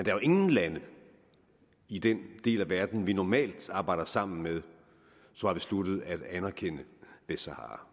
er jo ingen lande i den del af verden vi normalt arbejder sammen med som har besluttet at anerkende vestsahara